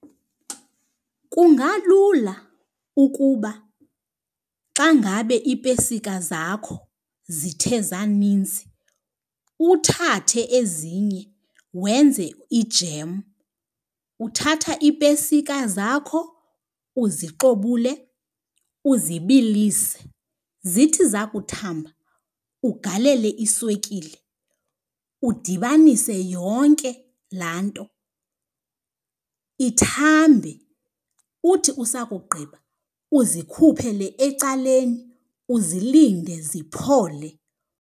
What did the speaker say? Kungalula ukuba xa ngabe iipesika zakho zithe zaninzi uthathe ezinye wenze ijem. Uthatha iipesika zakho uzixobule uzibilise. Zithi zakuthamba ugalele iswekile, udibanise yonke laa nto ithambe. Uthi usakugqiba uzikhuphele ecaleni uzilinde ziphole.